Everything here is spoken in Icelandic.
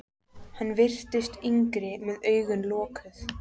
Hann virtist yngri með augun lokuð.